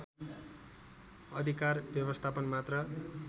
अधिकार व्यवस्थापन मात्र